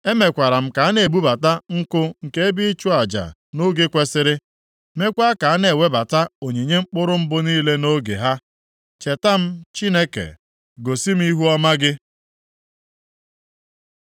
Emekwara m ka a na-ebubata nkụ nke ebe ịchụ aja nʼoge kwesiri, meekwa ka a na-ewebata onyinye mkpụrụ mbụ niile nʼoge ha. Cheta m Chineke, gosi m ihuọma gị.